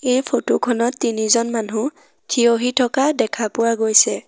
এই ফটো খনত তিনিজন মানুহ থিয় হৈ থকা দেখা পোৱা গৈছে।